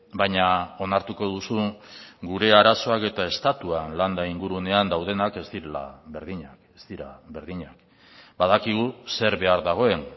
baina onartuko duzu gure arazoak eta estatuan landa ingurunean daudenak ez direla berdinak ez dira berdinak badakigu zer behar dagoen